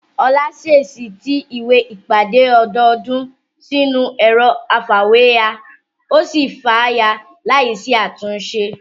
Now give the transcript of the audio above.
Olá ṣèèṣì ti ìwé ìpàdé ọdọọdún sínú ẹ̀rọ afàwéya ya, ó sì fàya láì sí àtúnṣe